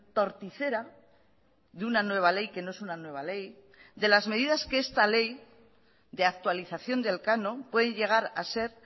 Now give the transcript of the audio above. torticera de una nueva ley que no es una nueva ley de las medidas que esta ley de actualización del canon puede llegar a ser